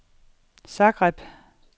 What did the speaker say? Zagreb